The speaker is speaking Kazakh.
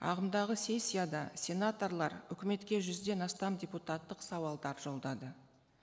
ағымдағы сессияда сенаторлар үкіметке жүзден астам депутаттық сауалдар жолдады